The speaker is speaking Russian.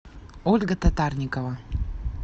ольга татарникова